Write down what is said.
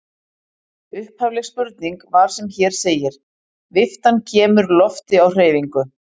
Upphafleg spurning var sem hér segir: Viftan kemur lofti á hreyfingu.